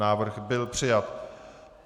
Návrh byl přijat.